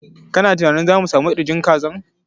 Kana tunanin za mu sami ƙirjin kazan?